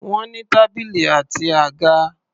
Wọ́n ní tábìlì àti àga.